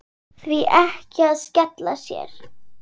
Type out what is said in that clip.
Því ekki að skella sér?